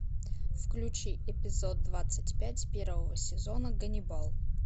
включи эпизод двадцать пять первого сезона ганнибал